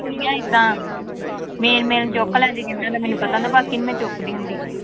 ਹੀ ਆਂ ਏਦਾਂ main main ਚੁੱਕ ਲੈਂਦੀ ਜਿਹਨਾਂ ਦਾ ਮੈਨੂੰ ਪਤਾ ਹੁੰਦਾ, ਬਾਕੀ ਨੀ ਮੈਂ ਚੁੱਕਦੀ ਹੁੰਦੀ।